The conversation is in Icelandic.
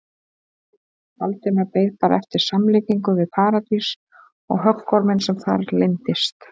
Valdimar beið bara eftir samlíkingu við Paradís og höggorminn sem þar leyndist.